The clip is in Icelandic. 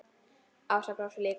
Ása brosir líka.